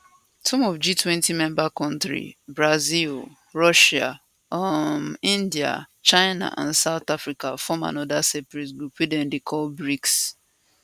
some of g20 member kontris brazil russia um india china and south africa form anoda sperate group wey dem dey call brics